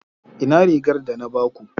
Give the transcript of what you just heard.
Ina rigar da na ba ku?